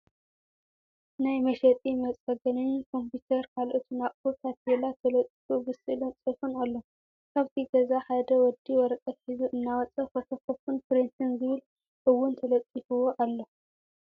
ናይ መሸጢ መፀገንን ኮምፒታር ካልኦትን ኣቁሑ ታፔላ ተለጢፉ ብስእልን ፅሑፍን ኣሎ። ካብቲ ገዛ ሓደ ወዲ ወረቀት ሒዙ እናወፀ እዩ ፎኮፒን ፕሪንትን ዝብል እአውን ተለጢፍዎ ኣሎ።